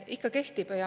Ikka kehtib.